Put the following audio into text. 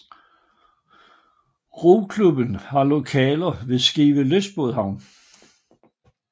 Roklubben har lokaler ved Skive lystbådhavn